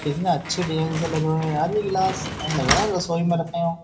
कितने अच्छे डिजाइन से लगे हुए हैं यार ये गिलास लग रहा है रसोई में रखे हो।